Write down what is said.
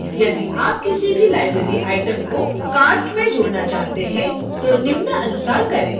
यदि आप किसी भी library item को cart में जोड़ना चाहते हैं तो निम्नानुसार करें